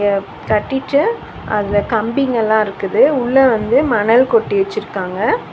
ப் கட்டிட்டு அதுல கம்பிங்கெல்லா இருக்குது உள்ள வந்து மணல் கொட்டி வெச்சுருக்காங்க.